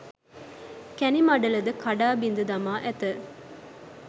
කැණි මඩල ද කඩා බිඳ දමා ඇත.